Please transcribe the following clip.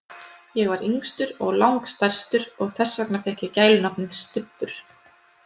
Ég var yngstur og lang stærstur og þess vegna fékk ég gælunafnið, Stubbur.